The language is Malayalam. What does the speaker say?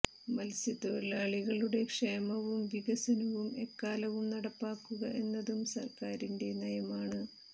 മത്സ്യത്തൊഴിലാളികളുടെ ക്ഷേമവും വികസ നവും എക്കാലവും നടപ്പാക്കുക എന്നതും സര്ക്കാരിന്റെ നയമാണ്